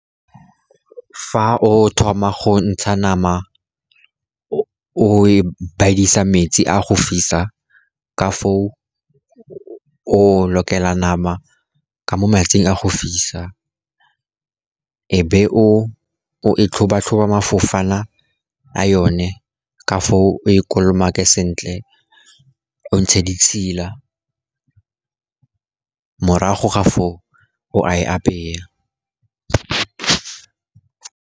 Fa o thoma go ntsha nama o e bidisa metsi a go fisa, ka foo o lokela nama ka mo metsing a go fisa, e be o e tlhoba tlhoba mafofana a yone ka foo o e kolomake sentle, o ntshe ditšhila. Morago ga foo, o a e apaya.